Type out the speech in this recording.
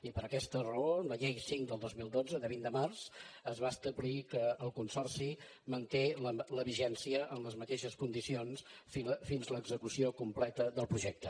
i per aquesta raó amb la llei cinc del dos mil dotze de vint de març es va establir que el consorci manté la vigència amb les mateixes condicions fins a l’execució completa del projecte